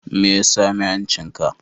Me ya sami hancinka?